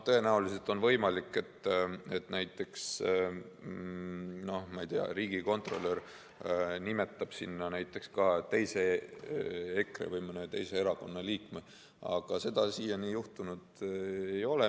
Tõenäoliselt on võimalik, et näiteks, ma ei tea, riigikontrolör nimetab sinna näiteks ka teise EKRE või mõne teise erakonna liikme, aga seda siiani minu teada juhtunud ei ole.